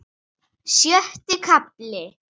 Sjötti kafli